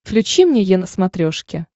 включи мне е на смотрешке